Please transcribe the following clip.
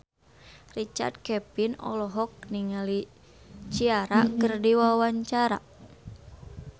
Richard Kevin olohok ningali Ciara keur diwawancara